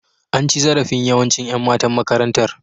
An ci zarafin yawanci Yan matan makarantar.